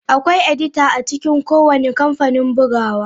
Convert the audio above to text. Akwai edita a cikin kowane kamfanin bugawa.